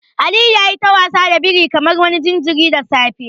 Aliyu yayi ta wasa da birin kamar wani jinjirin da safe.